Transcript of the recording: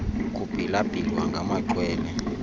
kubhila bhilwa ngamaxhwele